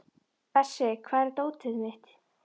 Bersi, hvar er dótið mitt?